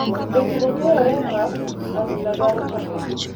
Jotugo keyore a pap, adhula dwaro chakore .